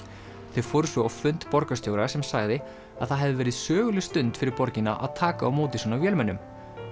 þau fóru svo á fund borgarstjóra sem sagði að það hefði verið söguleg stund fyrir borgina að taka á móti svona vélmennum